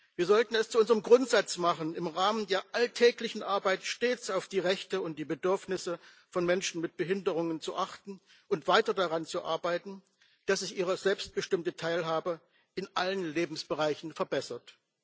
Wir sollten es zu unserem Grundsatz machen, im Rahmen der alltäglichen Arbeit stets auf die Rechte und die Bedürfnisse von Menschen mit Behinderungen zu achten und weiter daran zu arbeiten, dass sich ihre selbstbestimmte Teilhabe in allen Lebensbereichen verbessert.